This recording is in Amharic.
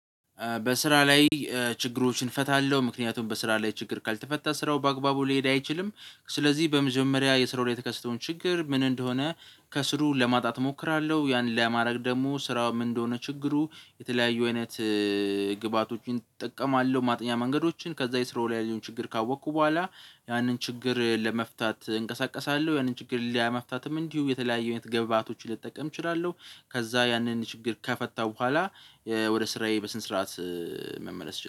በስራ ላይ ችግሮችን እፈታለሁ ምክንያቱም በስራ ላይ ችግር ካልተፈታ ስራው በአግባቡ ሊሄድ አይችልም። ስለዚህ በመጀመሪያ የስራው ላይ የተከሰተውን ችግር ምን እንደሆነ? ከስሩ ለማጥራት እሞክራለሁ። ያን ለማድረግ ደግሞ ስራው ምን እንደሆነ ችግሩ የተለያዩ አይነት ግብአቶችን እጠቀማለሁ። ማጥኛ መንገዶችን ከዛ የስራው ላይ ያለውን ችግር ካወቅኩ በኋላ። ያንን ችግር ለመፍታት እንቀሳቀሳለሁ ያንን ችግር ለመፍታትም እንዲሁ የተለያዩ አይነት ግብአቶችን ልጠቀም እችላለሁ። ከዛ ያንን ችግር ከፈታው በኋላ። ወደ ስራዬ በስነ ስርዓት መመለስ እችላለሁ